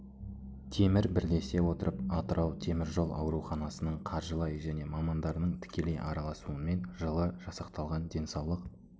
темір бірлесе отырып атырау темір жол ауруханасының қаржылай және мамандарының тікелей араласуынмен жылы жасақталған денсаулық